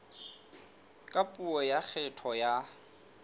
ka puo ya kgetho ya